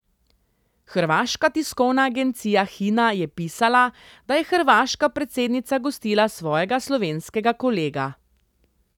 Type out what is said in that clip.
Hrvaška tiskovna agencija Hina je pisala, da je hrvaška predsednica gostila svojega slovenskega kolega.